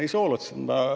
Ei soolotse.